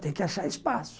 Tem que achar espaço.